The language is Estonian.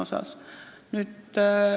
Selline oli see põhjendus.